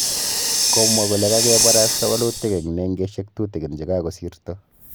Komwa kole kagebarasta walutik eng nengesyek tutigin che kagosirto